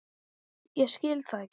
Ég skil það ekki.